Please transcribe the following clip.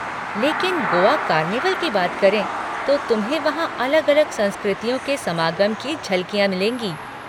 लेकिन गोआ कार्निवल की बात करें तो तुम्हें वहाँ अलग अलग संस्कृतियों के समागम की झलकियाँ मिलेंगी।